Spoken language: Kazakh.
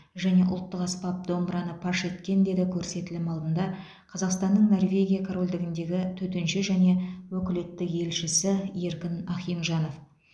және ұлттық аспап домбыраны паш еткен деді көрсетілім алдында қазақстанның норвегия корольдігіндегі төтенше және өкілетті елшісі еркін ахинжанов